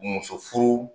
Muso furu